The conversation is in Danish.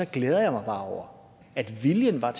glæder mig bare over at viljen var